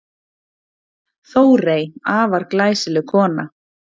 Þórey, afar glæsileg kona.